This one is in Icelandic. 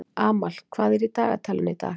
Amal, hvað er í dagatalinu í dag?